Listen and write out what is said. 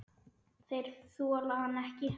Þeir þola hann ekki.